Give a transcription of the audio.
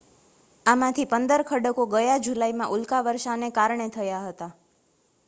આમાંથી પંદર ખડકો ગયા જુલાઈમાં ઉલ્કાવર્ષાને કારણે થયા હતા